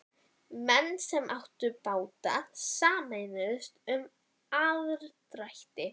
Menn sem áttu báta sameinuðust um aðdrætti.